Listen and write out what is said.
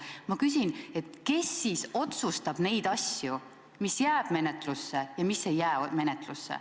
Ma küsin, kes siis otsustab neid asju, mis jääb menetlusse ja mis ei jää menetlusse.